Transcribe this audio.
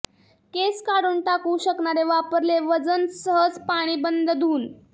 केस काढून टाकू शकणारे वापरले वजन सहज पाणी बंद धुऊन